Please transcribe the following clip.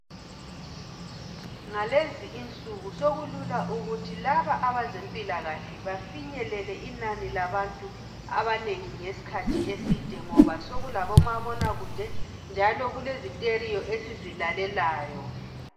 Ngalezi insuku sokulula ukuthi laba abezempilakahle bafinyelele inani labantu abanengi ngesikhathi eside ngoba sokulabomabonakude njalo kulezi teriyo esizilalelayo.